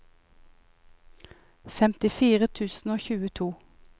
femtifire tusen og tjueto